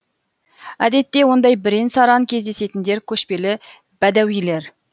әдетте ондай бірен саран кездесетіндер көшпелі бәдәуилер